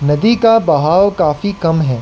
नदी का बहाव काफी कम है।